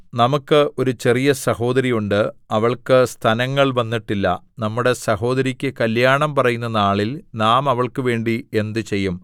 നമുക്ക് ഒരു ചെറിയ സഹോദരി ഉണ്ട് അവൾക്ക് സ്തനങ്ങൾ വന്നിട്ടില്ല നമ്മുടെ സഹോദരിക്ക് കല്യാണം പറയുന്ന നാളിൽ നാം അവൾക്ക് വേണ്ടി എന്ത് ചെയ്യും